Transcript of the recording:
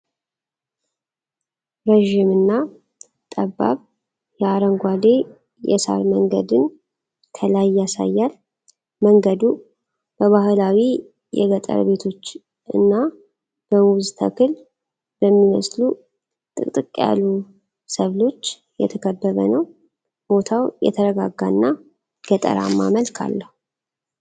ረዥምና ጠባብ የአረንጓዴ የሳር መንገድን ከላይ ያሳያል። መንገዱ በባህላዊ የገጠር ቤቶች እና በሙዝ ተክል በሚመስሉ ጥቅጥቅ ያሉ ሰብሎች የተከበበ ነው። ቦታው የተረጋጋና ገጠራማ መልክ አለው።